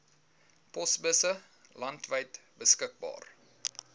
posbusse landwyd beskikbaar